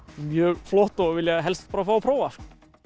mjög flott og vilja helst fá að prófa sko